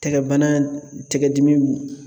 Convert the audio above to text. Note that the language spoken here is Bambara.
Tɛgɛ bana, tɛgɛdimi